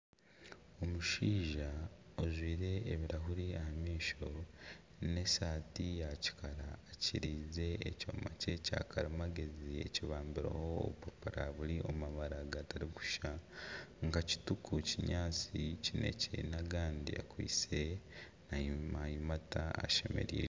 Omushaija ojwire ebirahuri aha maisho n'esaati ya kikara akiriize ekyoma kye kya karimagezi ekibambireho obupapura buri omu mabara gatari kushushana nka kituku , kinyaatsi ,kinekye n'agandi akwaitse nayimata ashemereirwe.